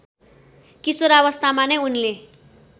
किशोरावस्थामा नै उनले